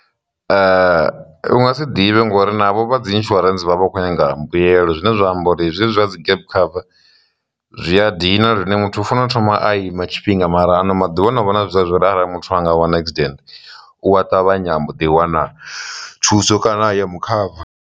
U nga si ḓivhe ngori navho vha dzi insurance vha vha khou nyanga mbuyelo zwine zwa amba uri zwezwi zwa dzi Gap cover zwi a dina lune muthu funa u thoma a ima tshifhinga mara ano maḓuvha ano vha na zwa uri arali muthu a nga wana accident u a ṱavhanya a mbo ḓi wana thuso kana ya mu khava.